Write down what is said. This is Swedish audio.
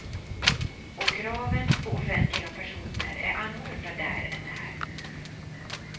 Och kraven på offentliga personer är annorlunda där än här.